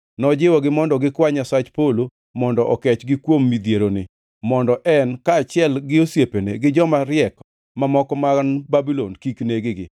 Nojiwogi mondo gikwa Nyasach polo mondo okechgi kuom midhieroni, mondo en, kaachiel gi osiepene, gi joma riek mamoko man Babulon kik neg-gi.